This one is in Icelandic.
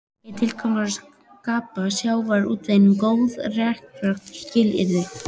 Er ekki tilgangurinn að skapa sjávarútveginum góð rekstrarskilyrði?